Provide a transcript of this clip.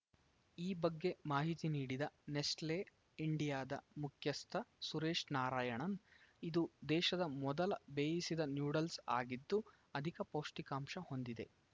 ಈ ಬಗ್ಗೆ ಮಾಹಿತಿ ನೀಡಿದ ನೆಸ್ಟಲೇ ಇಂಡಿಯಾದ ಮುಖ್ಯಸ್ಥ ಸುರೇಶ್‌ ನಾರಾಯಣನ್‌ ಇದು ದೇಶದ ಮೊದಲ ಬೇಯಿಸಿದ ನ್ಯೂಡಲ್ಸ್‌ ಆಗಿದ್ದು ಅಧಿಕ ಪೌಷ್ಠಿಕಾಂಶ ಹೊಂದಿದೆ